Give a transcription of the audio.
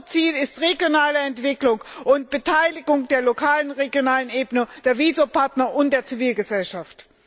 Unser Ziel ist regionale Entwicklung und Beteiligung der lokalen und regionalen Ebene, der WiSo Partner und der Zivilgesellschaft.